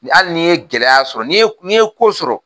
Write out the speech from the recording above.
hali n'i ye gɛlɛya sɔrɔ n'i ye n'i ye ko sɔrɔ